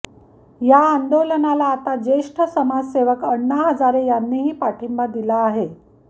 या आंदोलनाला आता ज्येष्ठ समाजसेवक आण्णा हजारे यांनीही पाठींबा दिला आहे